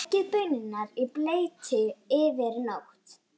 Leggið baunirnar í bleyti yfir nótt.